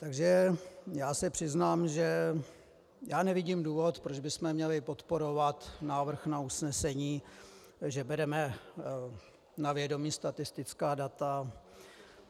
Takže já se přiznám, že já nevidím důvod, proč bychom měli podporovat návrh na usnesení, že bereme na vědomí statistická data.